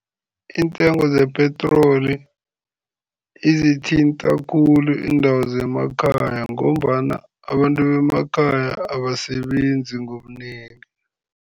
Iintengo zepetroli izithinta khulu iindawo zemakhaya ngombana abantu bemakhaya abasebenzi ngobunengi.